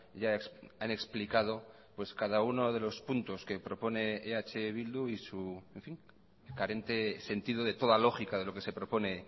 ya han explicado pues cada uno de los puntos que propone eh bildu y su carente sentido de toda lógica de lo que se propone